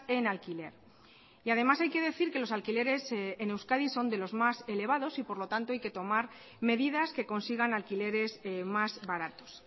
en alquiler y además hay que decir que los alquileres en euskadi son de los más elevados y por lo tanto hay que tomar medidas que consigan alquileres más baratos